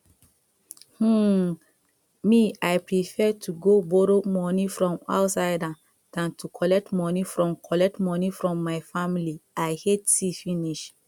um me i prefer to go borrow from outsider dan to collect money from collect money from my family i hate see finish